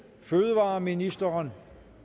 fødevareministeren